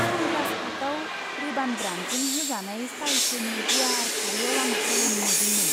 Sunglass हाटआव Ray Ban ब्रान्डजों होजानाय स्टाइलफोरनि गुवार फारियाव आं गोमोदोंमोन!